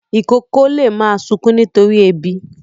Ìkókó lè máa sunkún nítorí ebi.